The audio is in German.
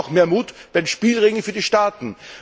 Und auch mehr Mut bei Spielregeln für die Staaten!